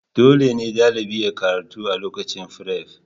Dole ne ɗalibi yayi karatu a lokacin firef